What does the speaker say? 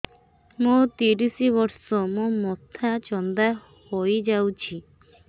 ମୋ ତିରିଶ ବର୍ଷ ମୋ ମୋଥା ଚାନ୍ଦା ହଇଯାଇଛି